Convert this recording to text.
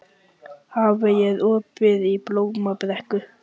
Hafey, er opið í Blómabrekku?